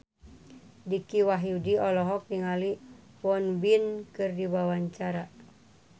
Dicky Wahyudi olohok ningali Won Bin keur diwawancara